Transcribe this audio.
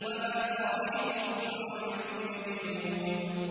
وَمَا صَاحِبُكُم بِمَجْنُونٍ